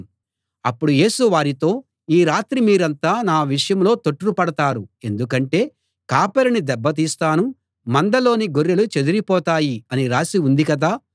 అప్పుడు యేసు వారితో ఈ రాత్రి మీరంతా నా విషయంలో తొట్రుపడతారు ఎందుకంటే కాపరిని దెబ్బ తీస్తాను మందలోని గొర్రెలు చెదరిపోతాయి అని రాసి ఉంది కదా